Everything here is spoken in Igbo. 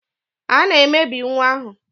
A na-emebi nwa ahụ.